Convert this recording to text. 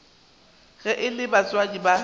ge e le batswadi ba